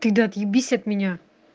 ты да отъебись от меня